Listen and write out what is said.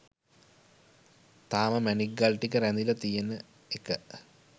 තාම මැණික් ගල් ටික රැඳිල තියෙන එක